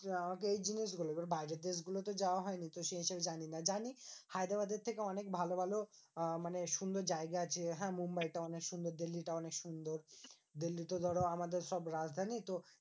আমাকে এই জিনিসগুলো এইবার বাইরের দেশগুলোতে যাওয়া হয়নি। তো সেই হিসেবে জানি না। জানি হায়দ্রাবাদের থেকে অনেক ভালো ভালো আহ মানে সুন্দর জায়গা আছে। হ্যাঁ? মুম্বাইটা অনেক সুন্দর। দিল্লিটা অনেক সুন্দর। দিল্লিতে ধরো আমাদের সব রাজধানী। তো